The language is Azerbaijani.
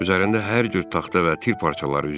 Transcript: Üzərində hər cür taxta və tir parçaları üzürdü.